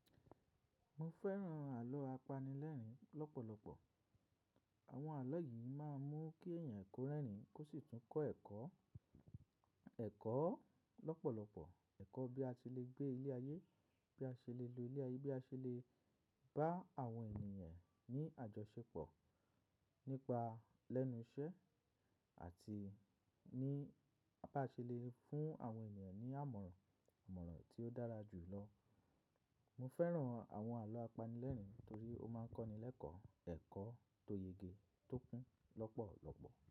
Mo fẹ́ràn àlọ́ apanilẹ́rìn-ín lọ́pọ̀lọpọ̀. Àwọn àlọ́ yìí máa ń mú kí èèyàn kó rẹ́rìn-ín kó sì tún kọ́ ẹ̀kọ́, ẹ̀kọ́ lọ́pọ̀lọpọ̀, ẹ̀kọ́ bí a ti lè gbé ilé ayé, bí a ṣe lè lo ilé ayé, bí a ṣe lè bá àwọn ènìyàn ní àjọṣepọ̀ nípa lẹ́nu iṣẹ́ àti ní bá ṣe lè fún àwọn ènìyàn ní àmọ̀ràn, àmọ̀ràn tí ó dára jù lọ. Mo fẹ́ràn àwọn àlọ́ apanilẹ́rìn-ín torí ó máa ń kọ́ni lẹ́kọ̀ọ́ ẹ̀kọ́ tó yege tó kún lọ́pọ̀lọpọ̀.